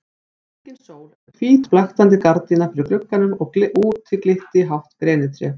Engin sól en hvít blaktandi gardína fyrir glugganum og úti glitti í hátt grenitré.